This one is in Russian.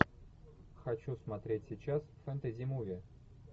хочу смотреть сейчас фэнтези муви